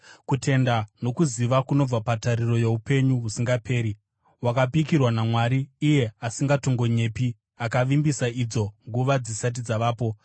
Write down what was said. kutenda nokuziva kunobva patariro youpenyu husingaperi, hwakapikirwa naMwari, iye asingatongonyepi, akavimbisa idzo nguva dzisati dzavapo,